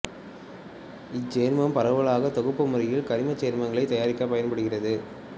இச்சேர்மம் பரவலாக தொகுப்பு முறையில் கரிமச் சேர்மங்களைத் தயாரிக்கப் பயன்படுகிறது